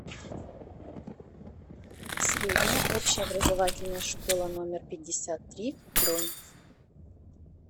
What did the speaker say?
средняя общеобразовательная школа номер пятьдесят три бронь